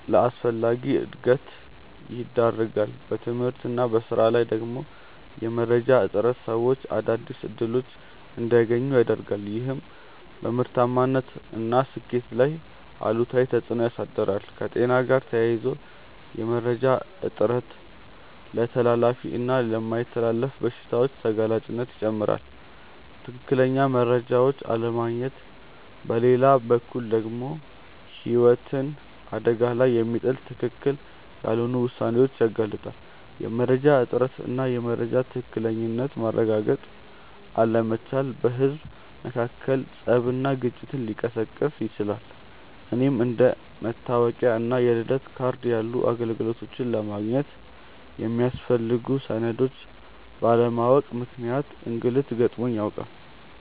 ለአላስፈላጊ እንግልት ይዳርጋል። በትምህርት እና በሥራ ላይ ደግሞ የመረጃ እጥረት ሰዎች አዳዲስ እድሎች እንዳያገኙ ያረጋል፤ ይህም በምርታማነት እና ስኬት ላይ አሉታዊ ተፅእኖ ያሳድራል። ከጤና ጋር ተያይዞ የመረጃ እጥረት ለተላላፊ እና የማይተላለፉ በሽታዎች ተጋላጭነትን ይጨምራል። ትክክለኛ መረጃዎችን አለማግኘት በሌላ በኩል ደግሞ ህይወትን አደጋ ላይ የሚጥሉ ትክክል ያልሆኑ ውሳኔዎችን ያጋልጣል። የመረጃ እጥረት እና የመረጃን ትክክለኝነት ማረጋገጥ አለመቻል በህዝብ መካከል ፀብና ግጭትን ሊቀሰቅስ ይችላል። እኔም አንደ መታወቂያ እና የልደት ካርድ ያሉ አገልግሎቶችን ለማግኘት የሚያስፈልጉ ሰነዶችን ባለማወቅ ምክንያት እንግልት ገጥሞኝ ያውቃል።